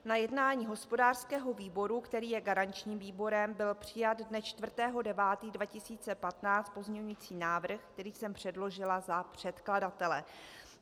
Na jednání hospodářského výboru, který je garančním výborem, byl přijat dne 4. 9. 2015 pozměňovací návrh, který jsem předložila za předkladatele.